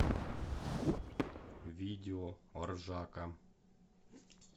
видео ржака